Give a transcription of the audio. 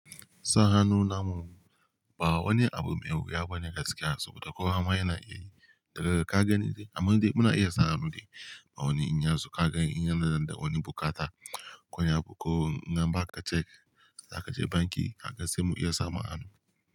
Sa hannu namu ba wani abu mai wuya ba ne gaskiya saboda kowa ma yana iya yi. Daga ka gani dai, amma dai muna iya sawa dai ba wani inya zo ka ga inyansu da wani bukatar koya ko in ba ka check za ka je banki haka sai mu iya samu a hannu.